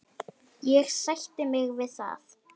Ég sætti mig við það.